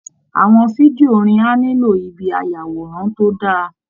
Àwọn fídíò orin á nílò ibi ayàwòrán tó dáa